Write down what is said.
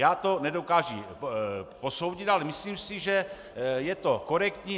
Já to nedokážu posoudit, ale myslím si, že je to korektní.